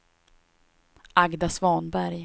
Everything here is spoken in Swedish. Agda Svanberg